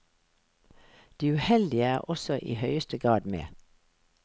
De uheldige er også i høyeste grad med.